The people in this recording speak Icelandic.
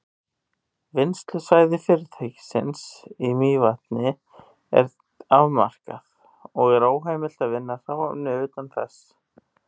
Vinnslusvæði fyrirtækisins í Mývatni er afmarkað, og er óheimilt að vinna hráefni utan þess.